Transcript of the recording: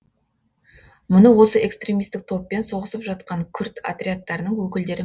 мұны осы экстремистік топпен соғысып жатқан күрд отрядтарының өкілдері